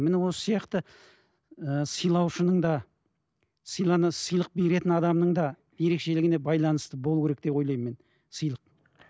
міне осы сияқты ыыы сыйлаушының да сыйлана сыйлық беретін адамның да ерекшелігіне байланысты болу керек деп ойлаймын мен сыйлық